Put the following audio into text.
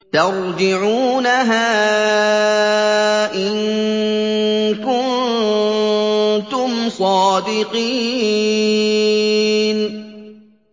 تَرْجِعُونَهَا إِن كُنتُمْ صَادِقِينَ